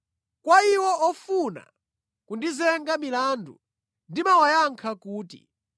Kwa iwo wofuna kundizenga milandu ndimawayankha kuti: